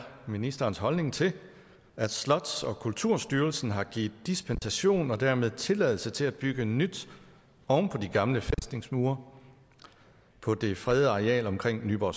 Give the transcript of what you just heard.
ministerens holdning til at slots og kulturstyrelsen har givet dispensation og dermed tilladelse til at bygge nyt oven på de gamle fæstningsmure på det fredede areal omkring nyborg